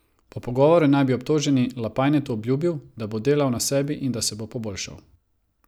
Po pogovoru naj bi obtoženi Lapajnetu obljubil, da bo delal na sebi in da se bo poboljšal.